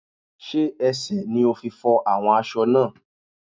Sé ẹsẹ̀ ni o fi fọ́ awọ́n aṣọ náà?